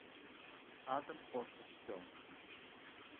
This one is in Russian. адам портит все